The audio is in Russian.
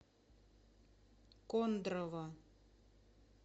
кондрово